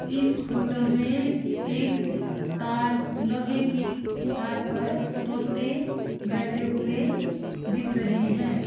इस फ़ोटो में एक तार लोहे की तार पर तोते बैठे हुए दिख रहे हैं।